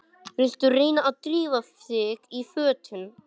Viltu ekki reyna að drífa þig í fötin!